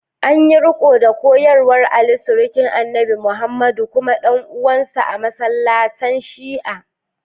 An yi riko da koyarwar Ali, surukin Annabi Muhammadu kuma dan uwansa, a masallatan Shi’a.